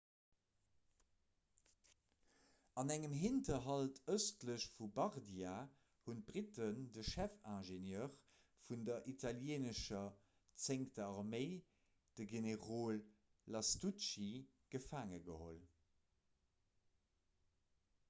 an engem hinterhalt ëstlech vu bardia hunn d'britten de chefingenieur vun der italieenescher zéngter arméi de generol lastucci gefaange geholl